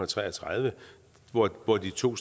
tre og tredive hvor de to